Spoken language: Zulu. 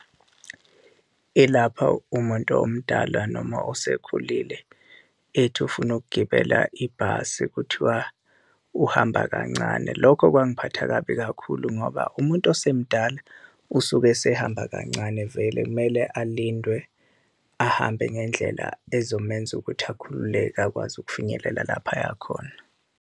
Ilapha umuntu omdala noma osekhulile ethi ufuna ukugibela ibhasi, kuthiwa uhamba kancane. Lokho kwangiphatha kabi kakhulu ngoba umuntu osemdala usuke esehamba kancane vele. Kumele alindwe ahambe ngendlela ezomenza ukuthi akhululeke, akwazi ukufinyelela lapha aya khona.